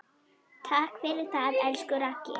Takk fyrir það, elsku Raggi.